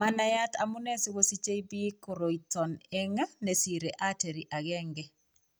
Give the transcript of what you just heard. Manaiyat amune sikosiche biik koroiton eng' nesire artery aeng'e